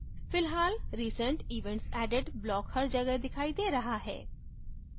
फिलहाल recent events added block हर जगह दिखाई दे रहा है